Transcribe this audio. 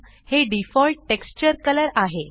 हे default texture colour आहे